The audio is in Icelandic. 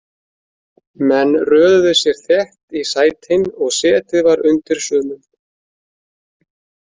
Menn röðuðu sér þétt í sætin og setið var undir sumum.